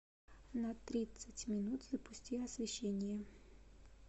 на тридцать минут запусти освещение